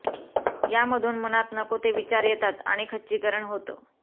यामधून मनात नको ते विचार येतात आणि खच्चिकरण होतं